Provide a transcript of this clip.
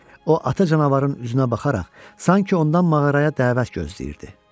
O ata canavarın üzünə baxaraq sanki ondan mağaraya dəvət gözləyirdi.